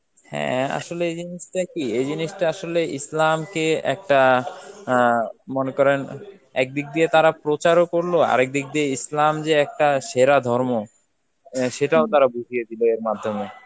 হ্যাঁ, আসলে এই জিনিসটা কি, এই জিনিসটা আসলে ইসলামকে একটা আ মনে করেন এক দিক দিয়ে তারা প্রচারও করল, আরেক দিক দিয়ে ইসলাম যে একটা সেরা ধর্ম, এর সেটাও তারা বুঝিয়ে দিল এর মাধ্যমে.